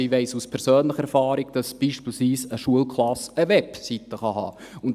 Ich weiss also aus persönlicher Erfahrung, dass beispielsweise eine Schulklasse eine Webseite haben kann.